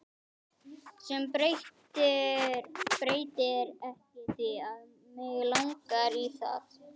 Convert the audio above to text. Sem breytir ekki því að mig langar í það.